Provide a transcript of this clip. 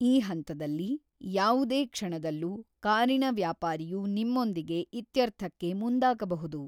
ಈ ಹಂತದಲ್ಲಿ ಯಾವುದೇ ಕ್ಷಣದಲ್ಲೂ, ಕಾರಿನ ವ್ಯಾಪಾರಿಯು ನಿಮ್ಮೊಂದಿಗೆ ಇತ್ಯರ್ಥಕ್ಕೆ ಮುಂದಾಗಬಹುದು.